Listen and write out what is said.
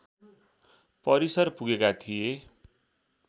परिसर पुगेका थिए